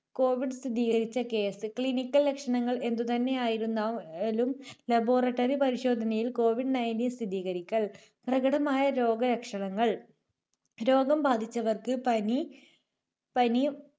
Covid സ്ഥിരീകരിച്ച case clinical ലക്ഷണങ്ങൾ എന്തുതന്നെ ആയിരുന്നാ~ലും laboratory പരിശോധനയിൽ കോവിഡ് Nineteen സ്ഥിരീകരിക്കൽ. പ്രകടമായ രോഗലക്ഷണങ്ങൾ രോഗം ബാധിച്ചവർക്ക് പനി, പനി